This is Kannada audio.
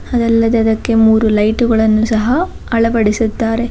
ಅದಲ್ಲದೆ ಅದಕ್ಕೆ ಮೂರು ಲೈಟುಗಳನ್ನು ಸಹ ಅಳವಡಿಸಿದ್ದಾರೆ.